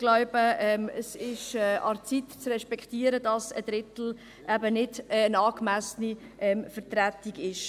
Ich glaube, es ist an der Zeit, zu respektieren, dass ein Drittel eben keine angemessene Vertretung ist.